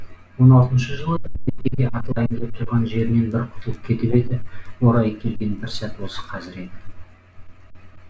он алтыншы жылы меркеде атылайын деп тұрған жерінен бір құтылып кетіп еді орайы келген бір сәт осы қазір еді